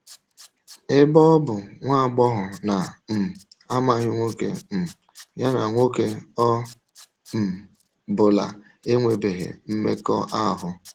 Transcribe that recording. Ebe ọ bụ nwa agbọghọ na um - amaghị nwoke, um ya na ‘ nwoke ọ um bụla enwebeghị mmekọahụ. ’